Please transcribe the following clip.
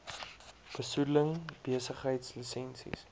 besoedeling besigheids lisensies